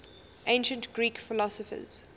ancient greek philosophers